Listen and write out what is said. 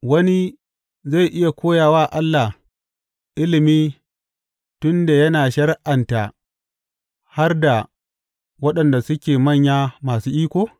Wani zai iya koya wa Allah ilimi tun da yana shari’anta har da waɗanda suke manya masu iko?